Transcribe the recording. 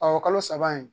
Ɔ kalo saba in